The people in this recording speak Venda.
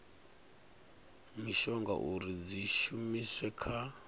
mishonga uri dzi shumiswe kha